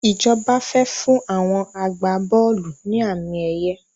Ìjọba fẹ fún àwọn agbá-bọ́ọ́lù ni àmì ẹ̀yẹ